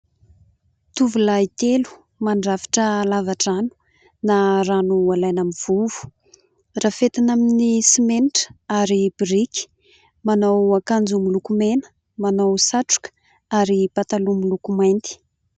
Tovolahy telo mandrafitra lava-drano na rano ho alaina amin'ny vovo. Rafetina amin'ny simenitra ary biriky, manao akanjo miloko mena, manao satroka ary pataloha miloko mainty.